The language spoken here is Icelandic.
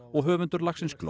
og höfundur lagsins